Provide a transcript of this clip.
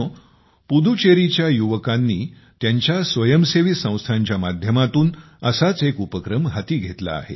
पुदुचेरीच्या युवकांनी त्यांच्या स्वयंसेवी संस्थांच्या माध्यमातून असाच एक उपक्रम हाती घेतला आहे